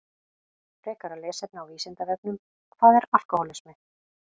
Frekara lesefni á Vísindavefnum Hvað er alkóhólismi?